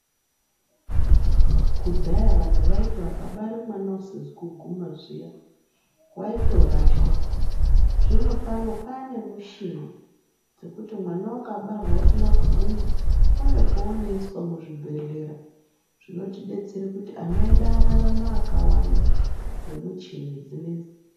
Kudhaya vantu vaiti vakabare mwana usizi kuguma zviya waitorashwa zvinopano pane mushini dzekuti mwana akabarwa asina kuguma une poonoiswa muzvibhedhlera zvinotidetsere kuti ana edu ararame akawanda ngemuchini dzinedzi.